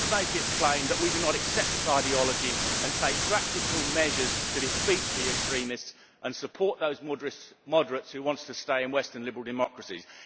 Let us make it plain that we do not accept this ideology and take practical measures to defeat the extremists and support those moderates who want to stay in western liberal democracies.